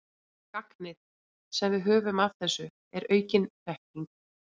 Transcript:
Gagnið, sem við höfum af þessu, er aukin þekking.